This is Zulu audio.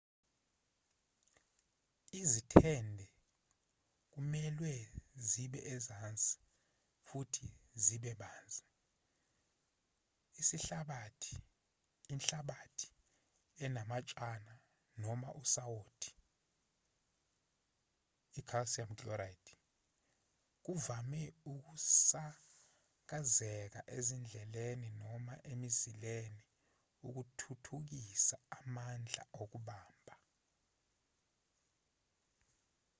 izithende kumelwe zibe ezansi futhi zibe banzi. isihlabathi inhlabathi enamatshana noma usawoti i-calcium chloride kuvame ukusakazeka ezindleleni noma emizileni ukuthuthukisa amandla okubamba